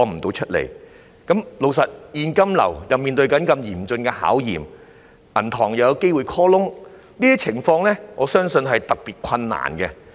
老實說，他們的現金流正面對嚴峻的考驗，銀行又有機會 call loan， 我相信這些情況會令他們經營得特別困難。